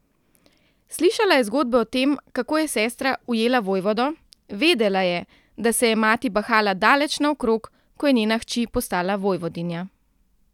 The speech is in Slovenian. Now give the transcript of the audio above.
Slišala je zgodbe o tem, kako je sestra ujela vojvodo, vedela je, da se je mati bahala daleč naokrog, ko je njena hči postala vojvodinja.